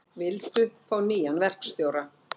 Vildu fá nýjan verkstjóra